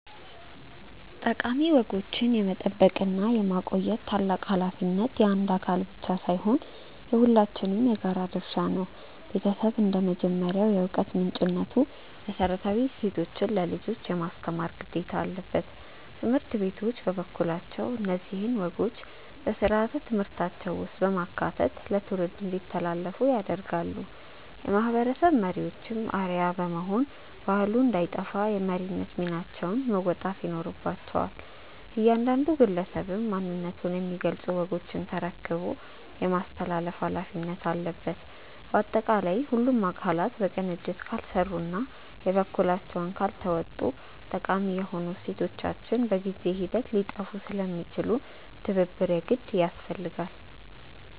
ጠቃሚ ወጎችን የመጠበቅና የማቆየት ታላቅ ኃላፊነት የአንድ አካል ብቻ ሳይሆን የሁላችንም የጋራ ድርሻ ነው። ቤተሰብ እንደ መጀመሪያው የዕውቀት ምንጭነቱ መሰረታዊ እሴቶችን ለልጆች የማስተማር ግዴታ አለበት። ትምህርት ቤቶች በበኩላቸው እነዚህን ወጎች በሥርዓተ ትምህርታቸው ውስጥ በማካተት ለትውልድ እንዲተላለፉ ያደርጋሉ። የማህበረሰብ መሪዎችም አርአያ በመሆን ባህሉ እንዳይጠፋ የመሪነት ሚናቸውን መወጣት ይኖርባቸዋል። እያንዳንዱ ግለሰብም ማንነቱን የሚገልጹ ወጎችን ተረክቦ የማስተላለፍ ኃላፊነት አለበት። ባጠቃላይ ሁሉም አካላት በቅንጅት ካልሰሩና የበኩላቸውን ካልተወጡ ጠቃሚ የሆኑ እሴቶቻችን በጊዜ ሂደት ሊጠፉ ስለሚችሉ ትብብር የግድ ያስፈልጋል።